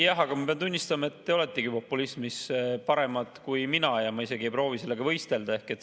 Jah, aga ma pean tunnistama, et te oletegi populismis paremad kui mina, ma isegi ei proovi sellega võistelda.